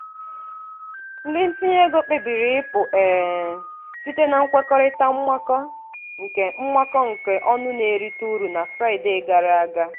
ndị ntinye ego kpebiri ịpụ um site na nkwekọrịta mmakọ nke mmakọ nke ọnụ na-erite uru na fraịdee gara aga.